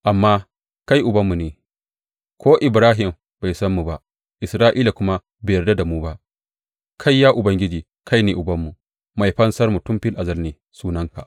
Amma kai Ubanmu ne, ko Ibrahim bai san mu ba Isra’ila kuma bai yarda da mu ba; kai, ya Ubangiji, kai ne Ubanmu, Mai Fansarmu tun fil azal ne sunanka.